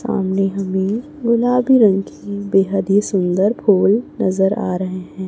सामने हमें गुलाबी रंग की बेहद ही सुंदर फूल नजर आ रहे हैं।